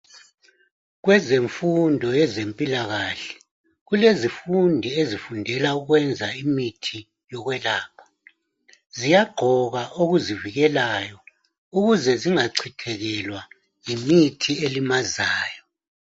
Kwezemfundo yezempilakahle kulezifundi ezifundela ukwenza imithi yokwelapha, ziyagqoka okuzivikelayo ukuze zingachithekelwa yimithi elimazayo.